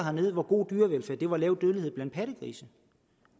hernede hvor god dyrevelfærd var lav dødelighed blandt pattegrise